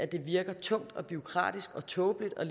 det virker tungt og bureaukratisk og tåbeligt og